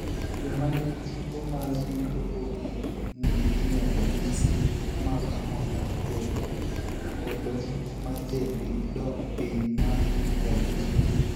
Joma ni gi tuo mar BOOP ni gi ranyisi mag ahonda ,koyo, oolo mar del gi dok piny mae rapim del.